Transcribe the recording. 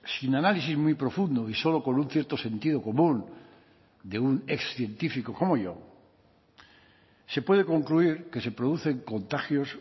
sin análisis muy profundo y solo con un cierto sentido común de un excientífico como yo se puede concluir que se producen contagios